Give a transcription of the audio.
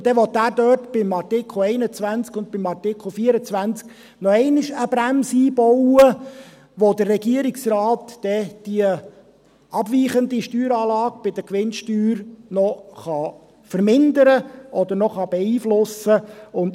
Und dann will er dort in den Artikel 21 und in den Artikel 24 noch einmal eine Bremse einbauen, wodurch der Regierungsrat dann diese abweichende Steueranlage bei der Gewinnsteuer noch vermindern oder beeinflussen kann.